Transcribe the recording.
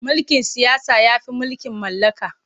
Mulkin siyasa ya fi mulkin mallaka.